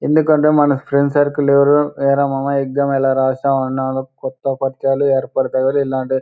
ఎందుకంటే మన friend circle ఎవరు ఎరా మామ్ ఎక్సమ్ ఎలా రాసావ్ అన్నారో కొత్త పరిచయాలు ఏర్పడతాయి ఇలాంటి --